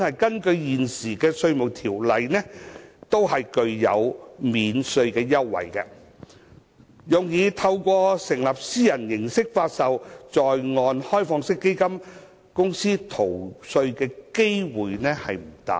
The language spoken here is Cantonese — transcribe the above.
根據現行《稅務條例》，這些機構本身均享有免稅優惠，用以透過成立以私人形式發售的在岸開放式基金公司逃稅的機會不大。